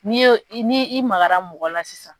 N'i y'o, n' i magara mɔgɔ la sisan.